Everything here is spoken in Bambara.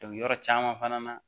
yɔrɔ caman fana na